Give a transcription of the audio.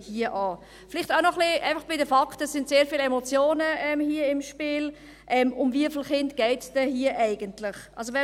Vielleicht einfach auch noch etwas zu den Fakten – es sind hier sehr viele Emotionen im Spiel –, um wie viele Kinder es denn hier eigentlich geht.